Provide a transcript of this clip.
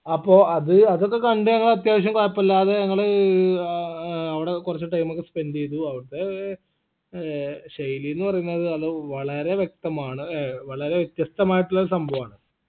അപ്പൊ അത് അതൊക്കെ കണ്ട് ഞങ്ങൾ അത്യാവശ്യം കൊഴപ്പില്ലാതെ ഞങ്ങള് ആ ഏർ വിട കൊർച്ച് time ഒക്കെ spend എയ്തു അവിടുത്തേ ഏർ ശൈലീന്ന് പറയുന്നത് അത് വളരെ വ്യക്തമാണ് ഏർ വളരെ വ്യത്യസ്തമായിട്ടുള്ള സംഭവാണ്